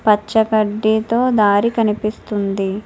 పచ్చగడ్డితో దారి కనిపిస్తుంది.